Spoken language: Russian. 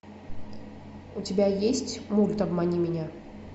у тебя есть мульт обмани меня